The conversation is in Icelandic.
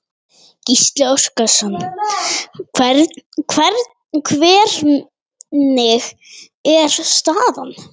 Gísli Óskarsson: Hvernig er staðan?